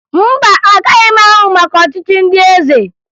Mba, agaghị m amụ maka ọchịchị ndị eze